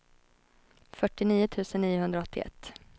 fyrtionio tusen niohundraåttioett